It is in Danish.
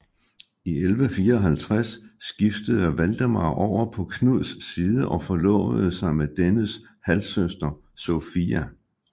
I 1154 skiftede Valdemar over på Knuds side og forlovede sig med dennes halvsøster Sofia